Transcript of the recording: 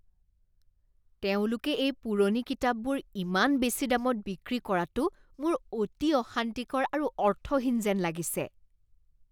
তেওঁলোকে এই পুৰণি কিতাপবোৰ ইমান বেছি দামত বিক্ৰী কৰাটো মোৰ অতি অশান্তিকৰ আৰু অৰ্থহীন যেন লাগিছে।